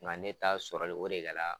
Ŋa ne ta sɔrɔli o de kɛla